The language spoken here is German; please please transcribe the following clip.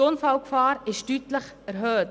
Die Unfallgefahr ist deutlich erhöht.